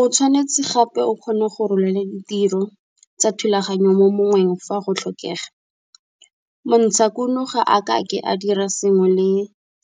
O tshwanetse gape o kgone go rolela ditiro tsa thulaganyo mo mongweng fa go tlhokega, montshakuno ga a ka ke a dira sengwe le